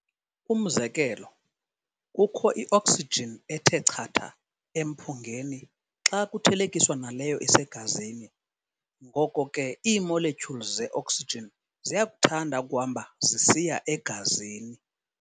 Umzekelo, kukho i-oxygen ethe chatha emphungeni xa kuthelekiswa naleyo isegazini, ngoko ke ii-molecules ze-oxygen ziyakuthanda ukuhamba zisiya egazini.